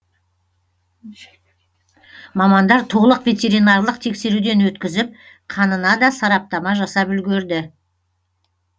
мамандар толық ветеринарлық тексеруден өткізіп қанына да сараптама жасап үлгерді